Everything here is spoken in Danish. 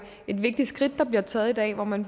et vigtigt skridt der bliver taget i dag hvor man